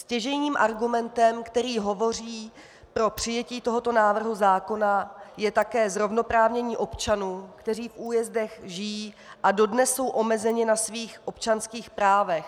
Stěžejním argumentem, který hovoří pro přijetí tohoto návrhu zákona, je také zrovnoprávnění občanů, kteří v újezdech žijí a dodnes jsou omezeni na svých občanských právech.